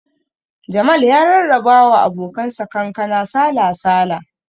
Jamal ya rarraba wa abokan sa kankana sala-sala